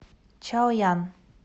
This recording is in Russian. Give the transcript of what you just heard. чаоян